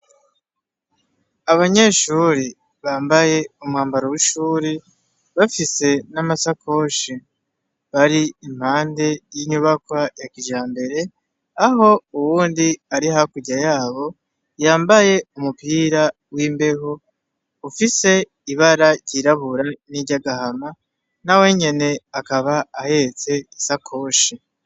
Abanyeshure bambaye umwambaro w'ishure, bafise n'amasakoshi, bari impande y'inyubakwa ya kijambere, aho uwundi ari hakurya yabo yambaye umupira w'imbeho ufise ibara ry'irabura niry'agahama nawenyene akaba ahetse isakoshi.